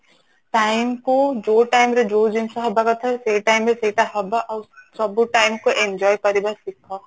time କୁ ଯୋଉ time ରେ ଯୋଉ ଜିନିଷ ହବ କଥା ସେଇ time ରେ ସେଇଟା ହବ ଆଉ ସବୁ time କୁ enjoy କରିବା ଶିଖ